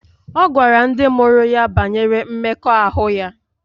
Ọ gwara ndị mụrụ ya banyere mmekọahụ ya